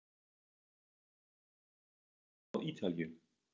Mun ég einhvern tíma spila á Ítalíu?